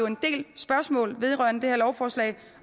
en del spørgsmål vedrørende det her lovforslag